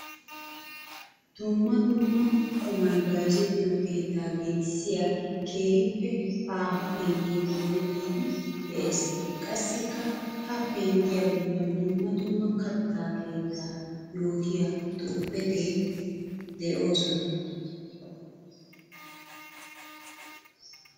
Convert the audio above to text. Dumma dumma qummay bayzzettiyo keetta gelissiya keehippe aaho pengge dooyetti de'ees. Qassikka ha penggiya bollan dumma dumma katta keetta yootiya xuufetti de'osona.